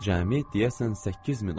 Cəmi, deyəsən, 8000 oldu.